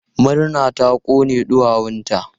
Murna ta kone ɗuwawunta.